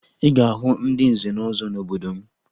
Ị ga-ahụ ndị nze na ọzọ n'obodo m